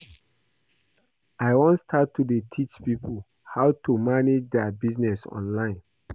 I wan start to dey teach people how to dey manage their business online